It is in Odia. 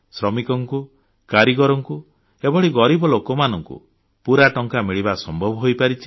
ଶ୍ରମିକଙ୍କୁ କାରିଗରଙ୍କୁ ଏଭଳି ଗରିବ ଲୋକମାନଙ୍କୁ ପୁରା ଟଙ୍କା ମିଳିବା ସମ୍ଭବ ହୋଇପାରିଛି